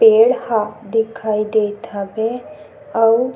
पेड़ ह दिखाई देत हवे अउ--